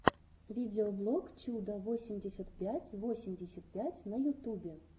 видеоблог чуда восемьдесят пять восемьдесят пять на ютубе